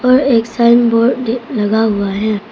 और एक sign board भी लगा हुआ है।